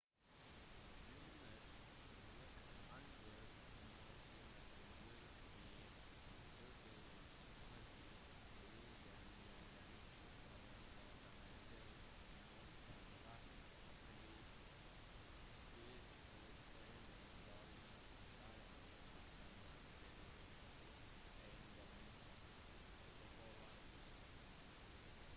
under nasjonaliseringen i 2010 ble den gjeldende hovedgatebanken northern rock plc skilt ut fra den «dårlige» delen av northern rock plc eiendomsforvaltning